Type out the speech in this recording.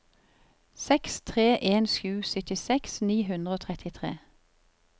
seks tre en sju syttiseks ni hundre og trettitre